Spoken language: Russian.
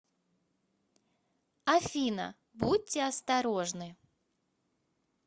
афина будьте осторожны